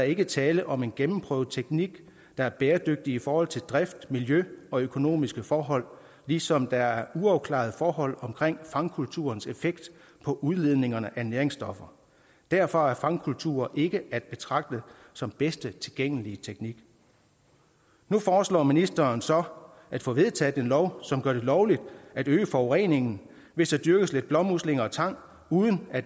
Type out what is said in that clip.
ikke tale om en gennemprøvet teknik der er bæredygtig i forhold til drift miljø og økonomiske forhold ligesom der er uafklarede forhold omkring fangkulturens effekt på udledningerne af næringsstoffer derfor er fangkulturer ikke at betragte som bedste tilgængelige teknik nu foreslår ministeren så at få vedtaget en lov som gør det lovligt at øge forureningen hvis der dyrkes lidt blåmuslinger og tang uden at